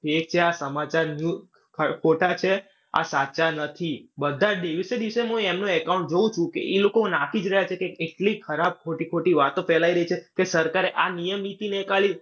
આ સમાચાર ખોટા છે. આ સાચા નથી. બધા દિવસે દિવસે હું એમનું account જોઉં છું કે એ લોક નાંખી જ રહ્યા છે કે એટલી ખરાબ ખોટી-ખોટી વાતો ફેલાય રહી છે કે સરકારે આ નિયમ નીતિ .